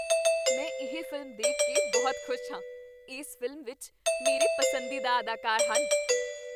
ਮੈਂ ਇਹ ਫ਼ਿਲਮ ਦੇਖ ਕੇ ਬਹੁਤ ਖੁਸ਼ ਹਾਂ। ਇਸ ਫ਼ਿਲਮ ਵਿੱਚ ਮੇਰੇ ਪਸੰਦੀਦਾ ਅਦਾਕਾਰ ਹਨ।